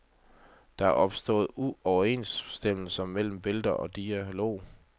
Der er opstået uoverensstemmelser mellem billeder og dialog.